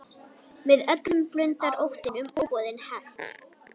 Með öllum blundar óttinn um óboðinn gest.